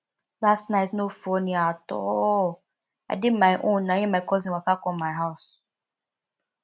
last night no funny at all i dey my own na im my cousin waka come my house